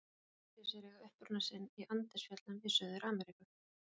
Naggrísir eiga uppruna sinn í Andesfjöllum í Suður-Ameríku.